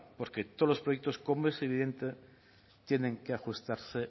porque todos los proyectos como es evidente tienen que ajustarse